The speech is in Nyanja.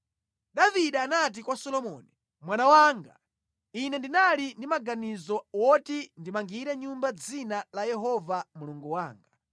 Davide anati kwa Solomoni, “Mwana wanga, ine ndinali ndi maganizo oti ndimangire nyumba Dzina la Yehova Mulungu wanga.